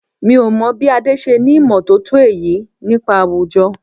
Mi ò mọ̀ bí Adé ṣe ní ìmọ̀ tótó èyí nípa àwùjọ.